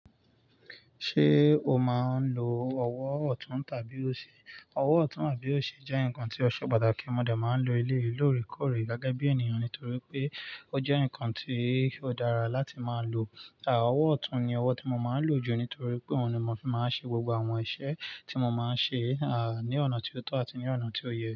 Ṣé o máa ń lo ọwọ́ ọ̀tún tàbí òsì? Ọwọ́ ọ̀tún àbí òsì jẹ́ nǹkan tí ọ̀ṣọ́ pàtàkì mọ dé máa ń lo ilé yí lorí kórí gágá bí ènìyàn nítorí pé ó jẹ́ nǹkan tí ó dára láti máa lo. Àà, ọwọ́ ọ̀tún ni ọwọ́ tí mo máa ń lò jù nítorí pé òun ni mo fi máa ń ṣe gbogbo àwọn iṣẹ́ tí mo máa ń ṣe, àà, ní ọ̀nà tí ó tọ́ àti ní ọ̀nà tí ó yẹ.